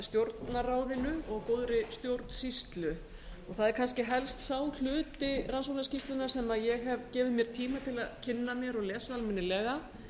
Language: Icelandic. stjórnarráðinu og góðri stjórnsýslu það er kannski helst sá hluti rannsóknarskýrslunnar sem ég hef gefið mér tíma til að kynna mér og lesa almennilega